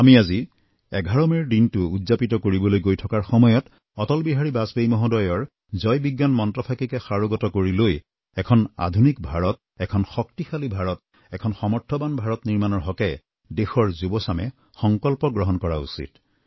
আমি আজি ১১ মেৰ দিনটো উদযাপিত কৰিবলৈ গৈ থকাৰ সময়ত অটল বিহাৰী বাজপেয়ী মহোদয়ৰ জয় বিজ্ঞান মন্ত্ৰফাঁকিকে সাৰোগত কৰি লৈ এখন আধুনিক ভাৰত এখন শক্তিশালী ভাৰত এখন সমৰ্থবান ভাৰত নিৰ্মাণৰ হকে দেশৰ যুৱচামে সংকল্প গ্ৰহণ কৰা উচিত